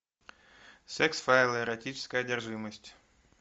секс файлы эротическая одержимость